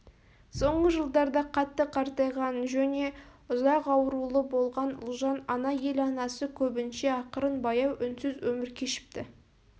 соңғы жылдарда қатты қартайған жөне ұзақ аурулы болған ұлжан ана ел анасы көбінше ақырын баяу үнсіз өмір кешіпті